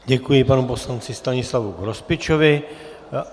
Děkuji, panu poslanci Stanislavu Grospičovi.